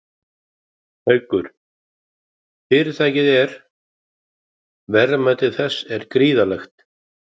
Haukur: Fyrirtækið er, verðmæti þess er gríðarlegt?